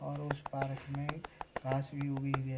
और उस पार्क में घास भी उगी हुई है।